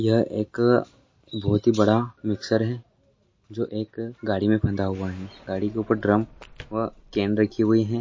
यह एक बहुत ही बड़ा मिक्सर हैं जो एक गाडी में बंधा हुआ हैं गाडी के ऊपर ड्रम व कैन रखी हुई--